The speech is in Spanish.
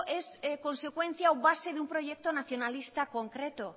es consecuencia o base de un proyecto nacionalista concreto